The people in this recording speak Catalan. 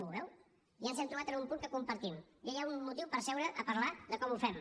ho veu ja ens hem trobat en un punt que compartim ja hi ha un motiu per seure a parlar de com ho fem